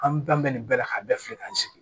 An bɛɛ bɛ nin bɛɛ la ka bɛɛ filɛ ka n sigi